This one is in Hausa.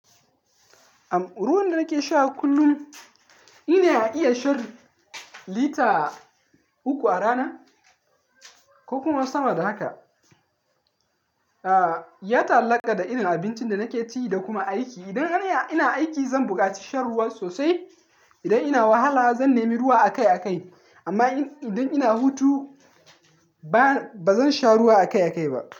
Am, ruwan da nake sha kullum ina iya shan lita uku a rana ko kuma sama da haka. Ya taallaka da irin abincin da nake ci da kuma aiki. Idan ina aiki zan buƙaci shan ruwa sosai. Idan ina wahala zan nemi ruwa akai-akai. Amma idan ina hutu ba zan sha ruwa akai-akai ba.